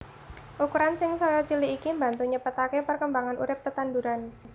Ukuran sing saya cilik iki mbantu nyepetaké perkembangan urip tetanduran